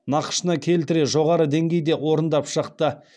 нақышына келтіре жоғары деңгейде орындап шықты